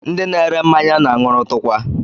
Ndị na-ere mmanya na-aṅụrụtụkwa